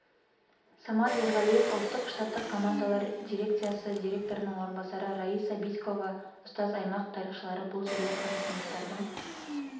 самат ерғалиев ұлттық штаттық командалар дирекциясы директорының орынбасары раиса битькова ұстаз аймақ тарихшылары бұл жерлер қазақстандықтардың